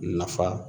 Nafa